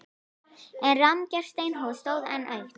En rammgert steinhús stóð enn autt.